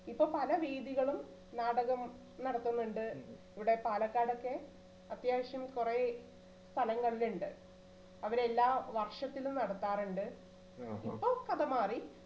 ഇപ്പൊ പല വേദികളും നാടകം നടത്തുന്നുണ്ട് ഇവിടെ പാലക്കാടൊക്കെ അത്യാവശ്യം കൊറേ സ്ഥലങ്ങളിലുണ്ട് അവര് എല്ലാ വർഷത്തിലും നടത്താറുണ്ട് ഇപ്പൊ കഥ മാറി